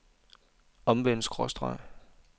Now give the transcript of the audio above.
omvendt skråstreg